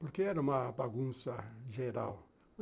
Porque era uma bagunça geral.